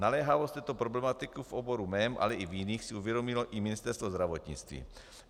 Naléhavost této problematiky v oboru mém, ale i v jiných si uvědomilo i Ministerstvo zdravotnictví.